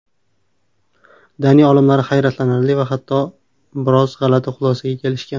Daniya olimlari hayratlanarli va hatto biroz g‘alati xulosaga kelishgan.